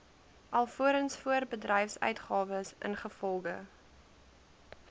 alvorens voorbedryfsuitgawes ingevolge